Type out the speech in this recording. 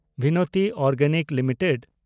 Binati organics limited